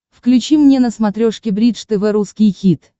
включи мне на смотрешке бридж тв русский хит